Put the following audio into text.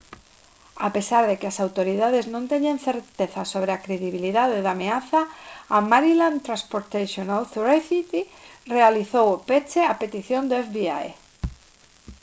a pesar de que as autoridades non teñen certeza sobre a credibilidade da ameaza a maryland transportation authority realizou o peche a petición do fbi